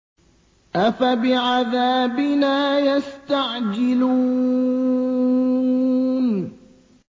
أَفَبِعَذَابِنَا يَسْتَعْجِلُونَ